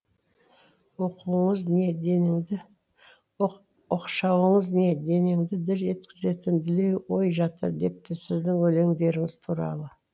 оқшауыңыз не денеңді дір еткізетін дүлей ой жатыр депті сіздің өлеңдеріңіз туралы